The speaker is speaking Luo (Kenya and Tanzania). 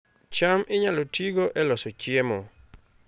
cham inyalo tigo e loso chiemo